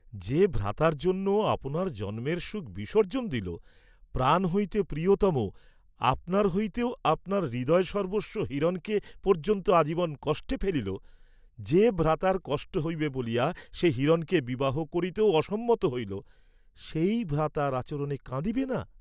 যে ভ্রাতার জন্য আপনার জন্মের সুখ বিসর্জ্জন দিল, প্রাণ হইতে প্রিয়তম, আপনার হইতেও আপনার হৃদয়সর্ব্বস্ব হিরণকে পর্য্যন্ত আজীবন কষ্টে ফেলিল, যে ভ্রাতার কষ্ট হইবে বলিয়া সে হিরণকে বিবাহ করিতেও অসম্মত হইল, সেই ভ্রাতার আচরণে কাঁদিবে না?